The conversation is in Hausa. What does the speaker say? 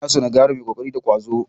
Ina son na ga yaro mai ƙoƙari da ƙwazo.